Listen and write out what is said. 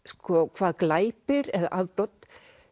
hvað glæpir eða afbrot